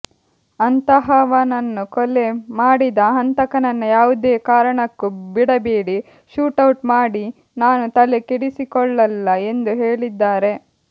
ಅಂತಹವನನ್ನು ಕೊಲೆ ಮಾಡಿದ ಹಂತಕನನ್ನ ಯಾವುದೇ ಕಾರಣಕ್ಕು ಬಿಡಬೇಡಿ ಶೂಟೌಟ್ ಮಾಡಿ ನಾನು ತಲೆ ಕೆಡಿಸಿಕೊಳ್ಳಲ್ಲ ಎಂದು ಹೇಳಿದ್ದಾರೆ